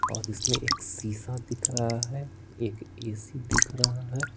और इसमें एक शीशा दिख रहा है एक ए_सी_ दिख रहा है।